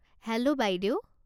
Hello বাইদেউ।